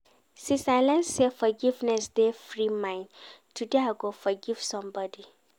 Since I learn sey forgiveness dey free mind, today I go forgive somebodi.